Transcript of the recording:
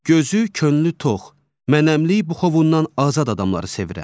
Gözü, könlü tox, mənəmlik buxovundan azad adamları sevirəm.